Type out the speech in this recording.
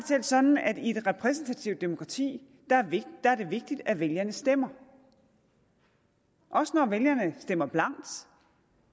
selv sådan at i et repræsentativt demokrati er det vigtigt at vælgerne stemmer også når vælgerne stemmer blankt